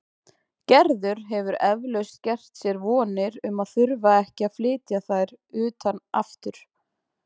Gerður hefur eflaust gert sér vonir um að þurfa ekki að flytja þær utan aftur.